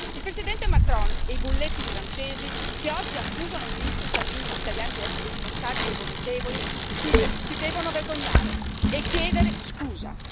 Il Presidente Macron e i bulletti francesi, che oggi accusano il ministro Salvini e gli italiani di essere responsabili e vomitevoli, si devono vergognare e chiedere scusa.